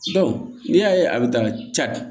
n'i y'a ye a bɛ taa ca